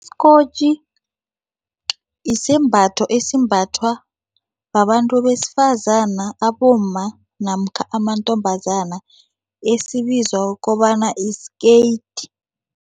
Isikotjhi isembatho esimbathwa babantu besifazana abomma namkha amantombazana esibizwa kobana yi-skirt.